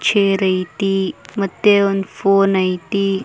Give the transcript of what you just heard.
Chair ಐತಿ ಮತ್ತೆ ಒಂದು ಫೋನ್ ಐತಿ.